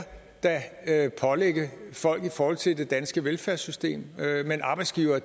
da pålægge folk i forhold til det danske velfærdssystem men arbejdsgivere